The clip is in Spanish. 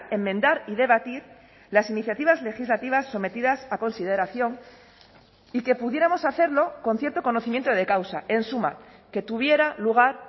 enmendar y debatir las iniciativas legislativas sometidas a consideración y que pudiéramos hacerlo con cierto conocimiento de causa en suma que tuviera lugar